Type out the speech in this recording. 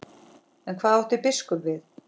En hvað átti biskup við?